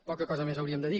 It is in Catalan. poca cosa més hauríem de dir